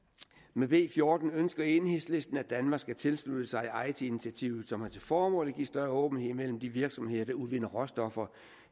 med b fjorten ønsker enhedslisten at danmark skal tilslutte sig eiti initiativet som har til formål at give større åbenhed mellem de virksomheder der udvinder råstoffer